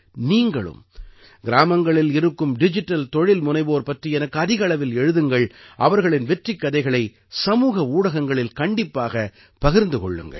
நீங்களும் கிராமங்களில் இருக்கும் டிஜிட்டல் தொழில்முனைவோர் பற்றி எனக்கு அதிக அளவில் எழுதுங்கள் அவர்களின் வெற்றிக் கதைகளை சமூக ஊடகங்களில் கண்டிப்பாகப் பகிர்ந்து கொள்ளுங்கள்